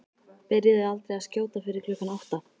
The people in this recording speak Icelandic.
Byrjuðu aldrei að skjóta fyrir klukkan átta.